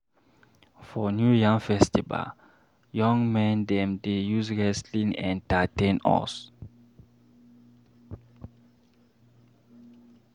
For New Yam Festival, young men dem dey use wrestling entertain us.